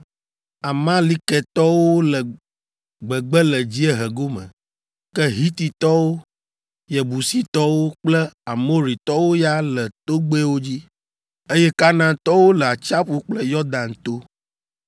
Amalekitɔwo le gbegbe le dziehe gome, ke Hititɔwo, Yebusitɔwo kple Amoritɔwo ya le togbɛwo dzi, eye Kanaantɔwo le atsiaƒu kple Yɔdan to.”